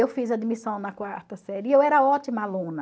Eu fiz admissão na quarta série e eu era ótima aluna.